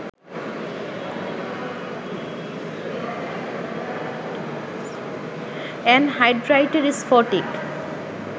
অ্যানহাইড্রাইটের স্ফটিক